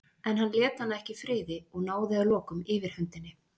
En hann lét hana ekki í friði og náði að lokum yfirhöndinni.